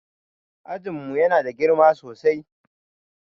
Ajin mu Yana da girma sosai